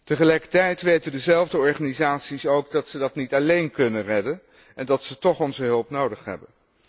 Tegelijkertijd weten diezelfde organisaties ook dat ze het niet alleen kunnen redden en dat ze toch onze hulp nodig hebben.